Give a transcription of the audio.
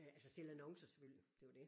Øh altså sælge annoncer selvfølgelig det var det